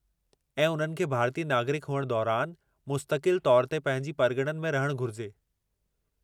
ऐं उन्हनि खे भारतीय नागरिकु हुअण दौरानि मुस्तक़िल तौर ते पंहिंजी परगि॒णनि में रहणु घुरिजे।